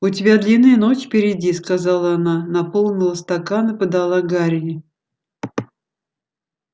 у тебя длинная ночь впереди сказала она наполнила стакан и подала гарри